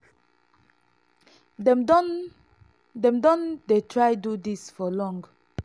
dem don dem don dey try do dis for long."